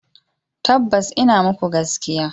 Tabbas ina muku gaskiya.